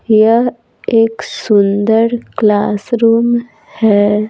यह एक सुंदर क्लासरूम है।